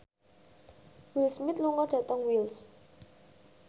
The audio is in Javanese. Will Smith lunga dhateng Wells